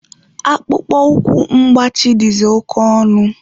Akpụkpọ ụkwụ mgbachi dịzị oke ọnụ.